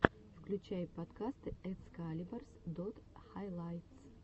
включай подкасты экскалибарс дот хайлайтс